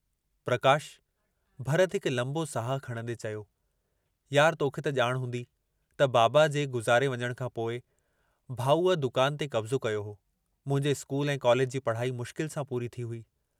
प्रकाश... भरत हिकु लम्बो साहु खणंदे चयो, यार तोखे त जाण हूंदी त बाबा जे गुज़ारे वञण खां पोइ, भाऊअ दुकान ते कब्ज़ो कयो हो, मुंहिंजे स्कूल ऐं कॉलेज जी पढ़ाई मुश्किल सां पूरी थी हुई।